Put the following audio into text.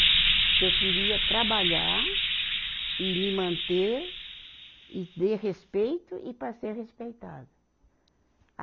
Porque eu queria trabalhar, e me manter, e dei respeito e para ser respeitada. a